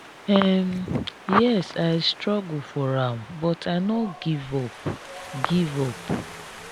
um yes i struggle for am but i no give up. give up.